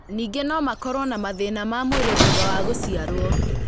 Ningĩ no makorũo na mathĩna ma mwĩrĩ thutha wa gũciarũo.